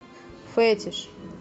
фетиш